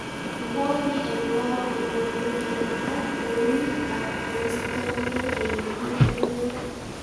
Ngwony en goo konyolu kemaal kouuit ak koistoenge ele miten beek.